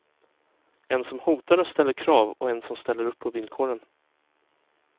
En som hotar och ställer krav och en som ställer upp på villkoren.